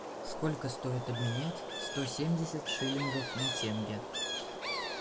сколько стоит обменять сто семьдесят шиллингов на тенге